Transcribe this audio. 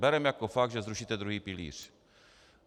Bereme jako fakt, že zrušíte druhý pilíř.